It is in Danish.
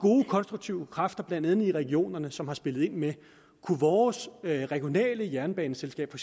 konstruktive kræfter blandt andet i regionerne som har spillet ind med kunne vores regionale jernbaneselskab for